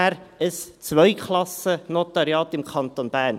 – Ein Zweiklassennotariat im Kanton Bern.